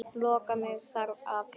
Loka mig þar af.